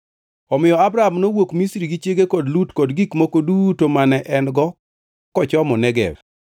Omiyo Abram nowuok Misri gi chiege kod Lut kod gik moko duto mane en-go kochomo Negev.